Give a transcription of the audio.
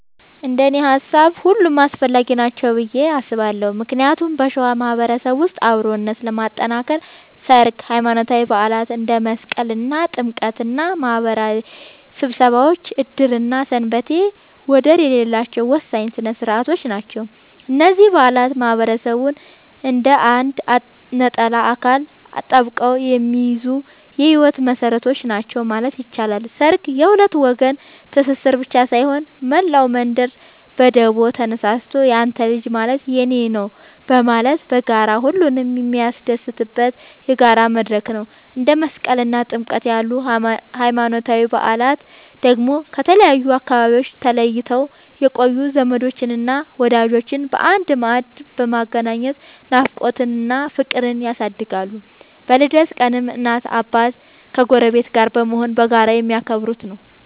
እንደኔ ሃሳብ ሁሉም አስፈላጊ ናቸው ብዬ አስባለሁ ምክንያቱም በሸዋ ማህበረሰብ ውስጥ አብሮነትን ለማጥከር ሠርግ፣ ሃይማኖታዊ በዓላት እንደ መስቀልና ጥምቀት እና ማህበራዊ ስብሰባዎች ዕድርና ሰንበቴ ወደር የሌላቸው ወሳኝ ሥነ ሥርዓቶች ናቸው። እነዚህ በዓላት ማህበረሰቡን እንደ አንድ ነጠላ አካል አጣብቀው የሚይዙ የህይወት መሰረቶች ናቸው ማለት ይቻላል። ሠርግ የሁለት ወገን ትስስር ብቻ ሳይሆን፣ መላው መንደር በደቦ ተነሳስቶ ያንተ ልጅ ማለት የኔ ነዉ በማለት በጋራ ሁሉንም የሚያስደስትበት የጋራ መድረክ ነው። እንደ መስቀልና ጥምቀት ያሉ ሃይማኖታዊ በዓላት ደግሞ ከተለያዩ አካባቢዎች ተለይተው የቆዩ ዘመዶችንና ወዳጆችን በአንድ ማዕድ በማገናኘት ናፍቆትን እና ፍቅርን ያድሳሉ። በልደት ቀንም እናትና አባት ከጎረቤት ጋር በመሆን በጋራ የሚያከብሩት ነዉ።